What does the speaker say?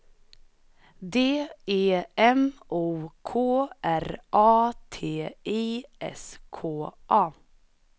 D E M O K R A T I S K A